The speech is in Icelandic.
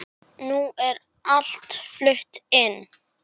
Nú er allt flutt inn.